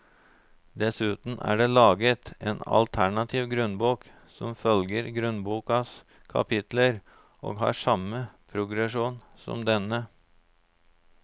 Dessuten er det laget en alternativ grunnbok som følger grunnbokas kapitler og har samme progresjon som denne.